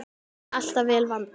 Alltaf vel vandað.